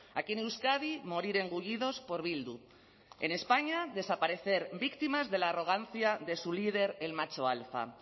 aquí en euskadi morir engullidos por bildu en españa desaparecer víctimas de la arrogancia de su líder el macho alfa